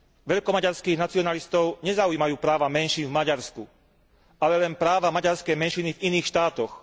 Veľkomaďarských nacionalistov nezaujímajú práva menšín v Maďarsku, ale len práva maďarskej menšiny v iných štátoch.